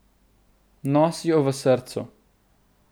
Nosi jo v srcu.